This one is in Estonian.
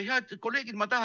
Head kolleegid!